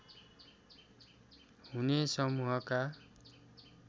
हुने समूहका